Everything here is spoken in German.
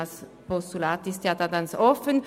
In der Form eines Postulats wird dies offengelassen.